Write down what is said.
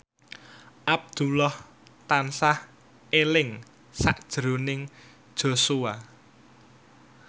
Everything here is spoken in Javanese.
Abdullah tansah eling sakjroning Joshua